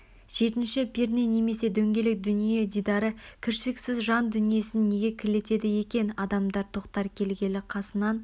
жетінші перне немесе дөңгелек дүние дидары кіршіксіз жан дүниесін неге кірлетеді екен адамдар тоқтар келгелі қасынан